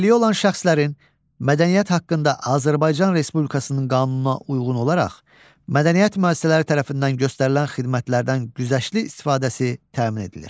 Əlilliyi olan şəxslərin mədəniyyət haqqında Azərbaycan Respublikasının qanununa uyğun olaraq, mədəniyyət müəssisələri tərəfindən göstərilən xidmətlərdən güzəştli istifadəsi təmin edilir.